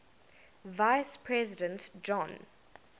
vice president john